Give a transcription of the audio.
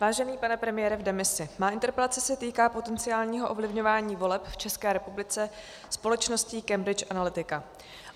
Vážený pane premiére v demisi, má interpelace se týká potenciálního ovlivňování voleb v České republice společností Cambridge Analytica.